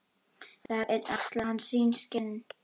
Dag einn axlaði hann sín skinn.